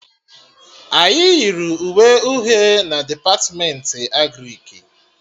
Anyị yiri uwe uhie na Depatmentị Agrịk